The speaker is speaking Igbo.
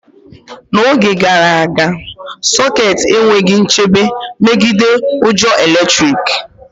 N'oge gara aga, sokets enweghị nchebe megide ujo eletrik